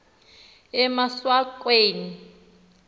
emaswakeni